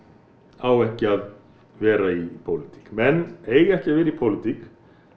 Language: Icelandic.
á ekki að vera í pólitík menn eiga ekki að vera í pólitík